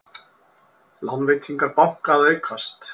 Lánveitingar banka að aukast